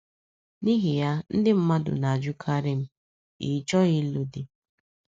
N’ihi ya, ndị mmadụ na - ajụkarị m: “ Ị́ chọghị ịlụ di ?"